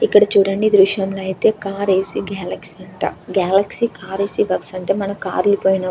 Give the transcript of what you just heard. చూడండి ఈ దృశ్యం లో అయితే కార్ ఏసి గెలాక్సీ అంట. గెలాక్సీ కార్ ఏసి వర్క్స్ అంటే--